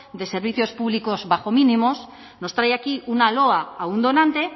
de servicios públicos bajo mínimos nos trae aquí una loa a un donante